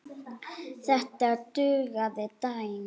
Þetta dugði þeim.